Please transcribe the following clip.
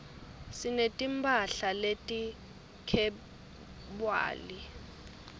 sineti mphahla leti khebywali